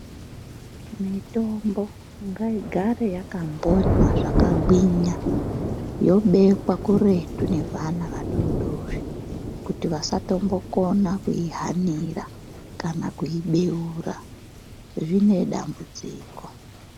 Mitombo ngaigare yakakonywa zvakagwinya yobekwa kuretu nevana vadodori kuti vasatombokona kuyihanira kana kuibeura zvinedambudziko.